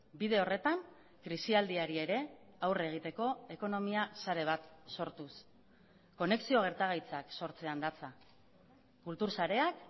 bide horretan krisialdiari ere aurre egiteko ekonomia sare bat sortuz konexio gertagaitzak sortzean datza kultur sareak